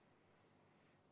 [Algust ei ole kuulda.